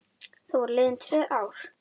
Þá voru liðin tvö ár.